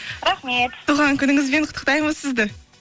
рахмет туған күніңізбен құттықтаймыз сізді